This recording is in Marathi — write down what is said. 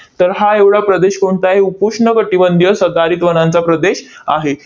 तर हा एवढा प्रदेश कोणता आहे? उपोष्ण कटिबंधीय सदाहरित वनांचा प्रदेश आहे.